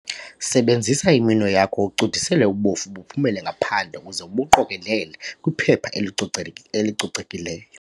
Sebenzisa iminwe yakho ucudisele ubofu buphumele ngaphandle uze ubuqokelele kwiphepha elico elicocekileyo.